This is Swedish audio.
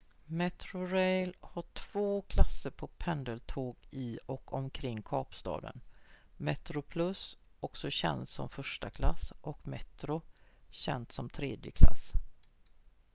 metrorail har två klasser på pendeltåg i och omkring kapstaden: metroplus också känt som första klass och metro känt som tredje klass